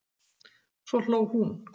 Svo hló hún.